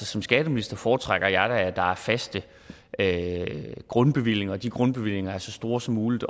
som skatteminister foretrækker jeg da at der er faste grundbevillinger og at de grundbevillinger er så store som muligt